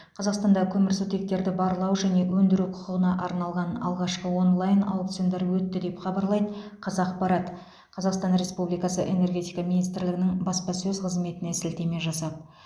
қазақстанда көмірсутектерді барлау және өндіру құқығына арналған алғашқы онлайн аукциондар өтті деп хабарлайды қазақпарат қазақстан республикасы энергетика министрлігінің баспасөз қызметіне сілтеме жасап